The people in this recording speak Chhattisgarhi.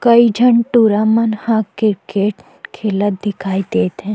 कई जन टुरा मन ह क्रिकेट खेलत दिखाई देत हे।